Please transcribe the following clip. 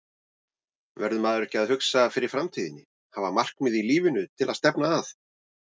Verður maður ekki að hugsa fyrir framtíðinni, hafa markmið í lífinu til að stefna að?